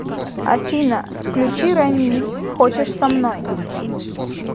афина включи рамиль хочешь со мной